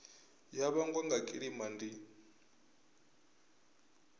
ya vhangwa nga kilima ndi